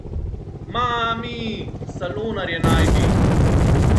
Maaami, salonarje najdi!